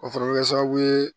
O fana bɛ kɛ sababu ye